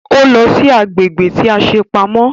Ó lọ sí agbègbè tí a ṣe pamọ́